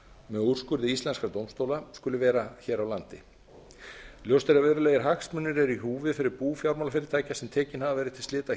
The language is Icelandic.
með úrskurði íslenskra dómstóla skuli vera hér á landi ljóst er að verulegir hagsmunir eru í húfi fyrir bú fjármálafyrirtækja sem tekin hafa verið til slita